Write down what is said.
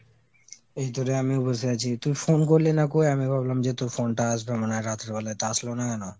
এইতো রে আমিও বসে আছি। তুই phone করলি না কোই তা আমি ভাবলাম তোর phone টা আসবে মনে হয় রাত্রে বেলায় তা আসলো না কোনো ?